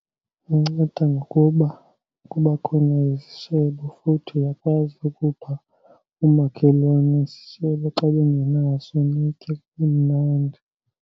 Inceda ngokuba kuba khona izishebo futhi uyakwazi ukupha oomakhelwane isishebo xa bengenaso, nitye kube mnandi.